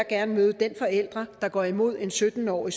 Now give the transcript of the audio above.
gerne møde den forælder der går imod en sytten årig